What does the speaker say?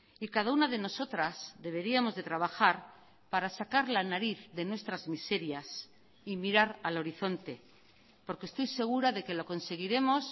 y cada una de nosotras deberíamos de trabajar para sacar la nariz de nuestras miserias y mirar al horizonte porque estoy segura de que lo conseguiremos